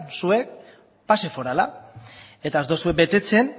zuek pase forala eta ez duzue betetzen